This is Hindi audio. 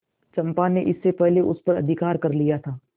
चंपा ने इसके पहले उस पर अधिकार कर लिया था